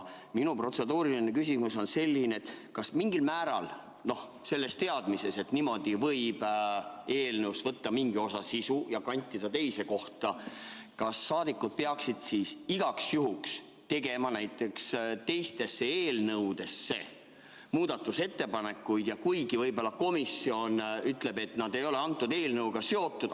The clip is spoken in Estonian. Minu protseduuriline küsimus on selline: kas, teades, et eelnõust võib võtta mingi osa sisust ja kantida selle teise kohta, peaksid rahvasaadikud igaks juhuks tegema ka teiste eelnõude kohta muudatusettepanekuid, kuigi komisjon võib-olla ütleb, et need ei ole selle eelnõuga seotud?